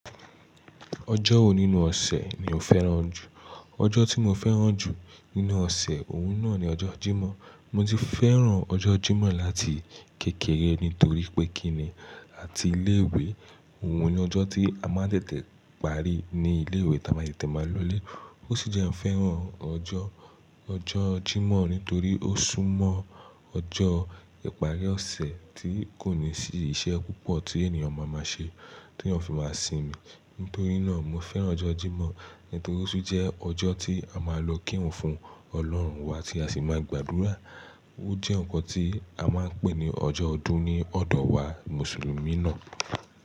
Ọjọ́ wo nínú ọ̀sẹ̀ ni o fẹ́ràn jù? Ọjọ́ tí mo fẹ́ràn jù nínú ọ̀sẹ̀, òun náà ni ọjọ́ Jímọ̀. Mo ti fẹ́ràn ọjọ́ Jímọ̀ láti kékeré nítorí pé kíni àti ilé ìwé, òun ni ọjọ́ tí a máa tètè parí ní ilé ìwé táa ma tete ma lọlé. Ó sì jẹ́ n fẹ́ràn ọjọ́, ọjọ́ Jímọ̀ nítorí ó sún mọ́ ọjọ́ ìparí ọ̀sẹ̀ tí kò ní sí iṣẹ́ púpọ̀ tí ènìyàn máa máa ṣe, tí ènìyàn fi máa sinmi. Nítorí náà mo fẹ́ràn ọjọ́ Jímọ̀ nítorí ó sì jẹ́ ọjọ́ tí a máa lọ kírun fún Ọlọ́run wa tí a sì máa gbàdúrà. Ó jẹ́ nǹkan tí a máa ń pè ní ọjọ́ ọdún ní ọ̀dọ̀ wa Mùsùlùmí náà.